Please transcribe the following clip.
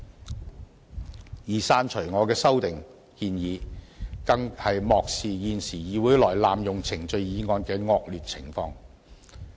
至於刪除我的修訂建議，更是漠視現時議會內濫用程序議案的惡劣情況。